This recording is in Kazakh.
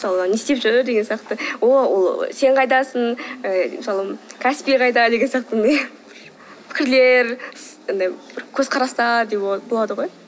мысалы не істеп жүр деген сияқты ол сен қайдасың ы мысалы каспий қайда деген сияқты пікірлер андай бір көзқарастар де болады ғой